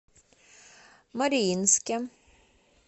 мариинске